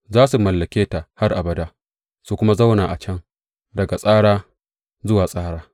Za su mallake ta har abada su kuma zauna a can daga tsara zuwa tsara.